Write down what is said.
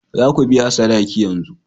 Za ku biya sadaki yanzu!